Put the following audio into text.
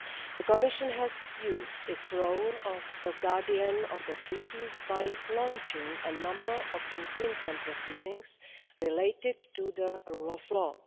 The Commission has used its role of guardian of the Treaties by launching a number of infringement proceedings related to the rule of law.